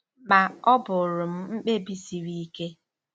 Ma, ọ bụụrụ m mkpebi siri ike.